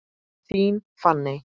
Þín Fanney.